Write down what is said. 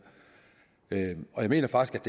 jeg mener faktisk